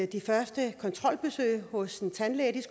de første kontrolbesøg hos en tandlæge